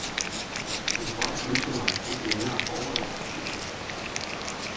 Men jeg kunne godt have ønsket mig lidt længere forberedelsestid.